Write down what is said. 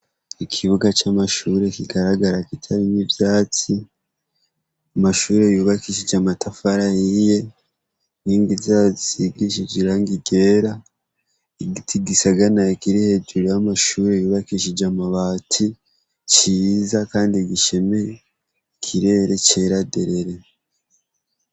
Ikibuga c'amashuri kigaragara kitarimwo ivyatsi, amashuri yubakishije amatafari ahiye, inkingi zayo zisigishije irangi ryera, igiti gisaganaye kiri hejuru y'amashuri yubakishije amabati ciza kandi gishemeye ikirere cera derere.